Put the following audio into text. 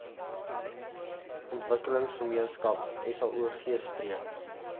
ontwikkelingsgemeenskap saog streek